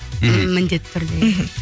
міндетті түрде мхм